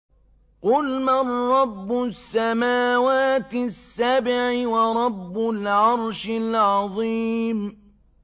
قُلْ مَن رَّبُّ السَّمَاوَاتِ السَّبْعِ وَرَبُّ الْعَرْشِ الْعَظِيمِ